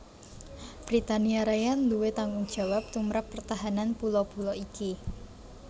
Britania Raya nduwé tanggungjawab tumrap pertahanan pulo pulo iki